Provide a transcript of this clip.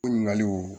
Ɲininkaliw